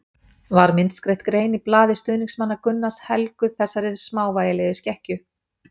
Var myndskreytt grein í blaði stuðningsmanna Gunnars helguð þessari smávægilegu skekkju.